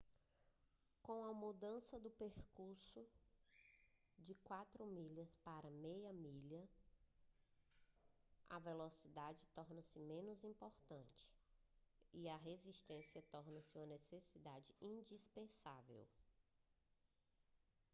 com a mudança do percurso de quarto de milha para meia milha - a velocidade torna-se menos importante e a resistência torna-se uma necessidade indispensável